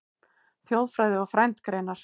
Þjóðfræði og frændgreinar